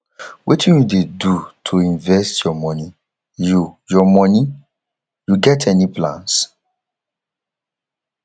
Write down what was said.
wetin you dey do to invest your money you your money you get any plans